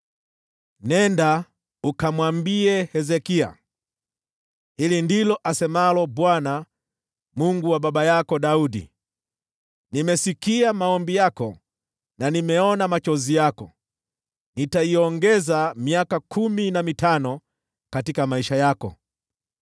“Nenda ukamwambie Hezekia, ‘Hili ndilo asemalo Bwana , Mungu wa baba yako Daudi: Nimeyasikia maombi yako na nimeona machozi yako. Nitakuongezea miaka kumi na mitano katika maisha yako.